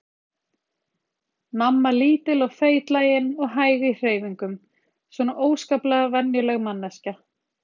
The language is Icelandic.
Mamma lítil og feitlagin og hæg í hreyfingum, svona óskaplega venjuleg manneskja.